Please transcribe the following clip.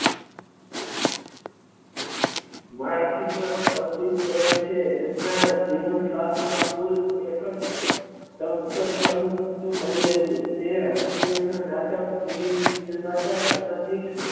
મરાઠી માં વ્યતીત રહે છે એમના જીવન કાળ માં કુલ એકજ સ્થળ બની રહ્યું તે હાસ્ય ના નાટક નિર્માતા સામાજીક